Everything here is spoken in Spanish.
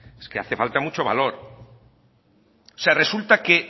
es que hace falta mucho valor o sea resulta que